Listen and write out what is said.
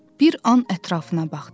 Bir an ətrafına baxdı.